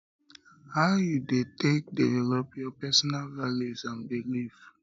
how you dey take develop your personal values and beliefs